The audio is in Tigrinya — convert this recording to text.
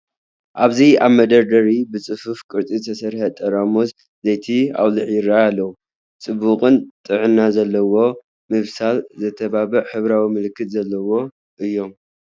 ኣብዚ ኣብ መደርደሪ ብጽፉፍ ቅርጺ ዝተሰርዐ ጠራሙዝ ዘይቲ ኣውሊዕ ይራኣዩ ኣለው። ጽቡቕን ጥዕና ዘለዎን ምብሳል ዘተባብዕ ሕብራዊ ምልክታት ዘለዎ እዮም።